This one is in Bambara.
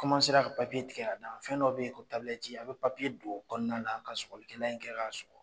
ka papiye tigɛ a da fɛn dɔ bɛ yen ko i bɛ papiye don o kɔnɔna na ka sɔgɔglikɛlan in kɛ k'a sɔgɔ .